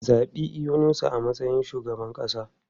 Zabi Yunusa a matsayin shugaban kasa!